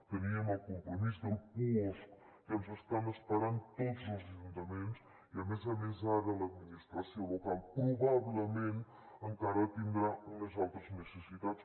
teníem el compromís del puosc que ens estan esperant tots els ajuntaments i a més a més ara l’administració local probablement encara tindrà unes altres necessitats